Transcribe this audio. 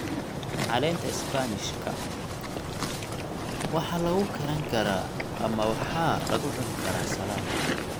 Caleenta isbaanishka waxaa lagu karan karaa ama waxaa lagu cuni karaa saladi.